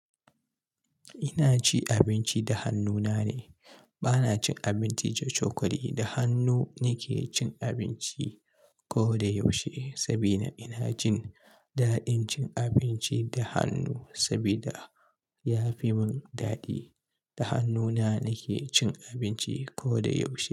Ina ci abinci da hannuna ne. Bana cin abinci da cokali. Da hannu nake cin abinci ko da yaushe sabida ina jin daɗin cin abinci da hannu sabida ya fi mun dadi. Da hannuna nake cin abinci ko da yaushe.